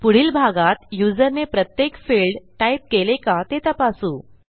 पुढील भागात युजरने प्रत्येक फिल्ड टाईप केले का ते तपासू